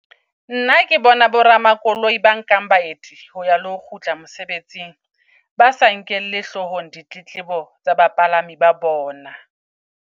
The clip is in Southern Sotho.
Nna ke bona bo ramakoloi ba nkang baeti ho ya le ho kgutla mosebetsing, ba sa nkelle hlohong ditletlebo tsa ba palami ba bona.